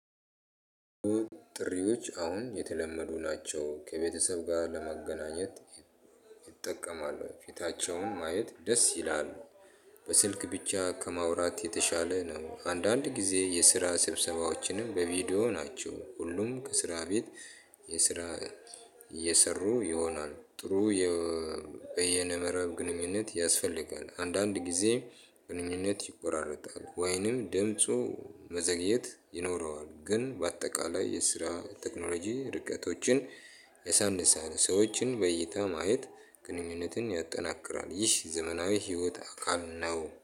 ጥሪዎች አሁን የተለመዱ ናቸው ከቤተሰብ ጋር ለመገናኘት እጠቀማለሁኝ ፊታቸውን ማየት ደስ ይላል። በስልክ ብቻ ከማውራት የተሻለ ነው። አንዳንድ ጊዜ የስራ ስብሰባዎችንም በቪዲዮ ናቸው ሁሉም ከስራ ቤት የስራ እየሰሩ ይሆናል። ጥሩ በየነመረብ ግንኙነት ያስፈልጋል። አንዳንድ ጊዜ ግንኙነት ይቆራረጣል ወይንም ድምፁ መዘግየት ይኖረዋል። ግን በአጠቃላይ የስራ ቴክኖሎጂ ርቀቶችን ያሳንሳል። ሰዎችን በእይታ ማየት ግንኙነትን ያጠናክራል። ይህ ዘመናዊ ህይወት አካል ነው